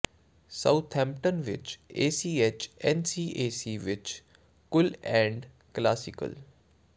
Southampton ਵਿੱਚ ACH N C A C ਵਿੱਚ cool and classical